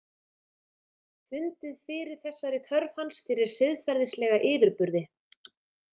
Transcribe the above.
Fundið fyrir þessari þörf hans fyrir siðferðislega yfirburði.